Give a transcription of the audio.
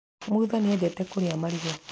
Mutha nĩ endete kũrĩa marigũ.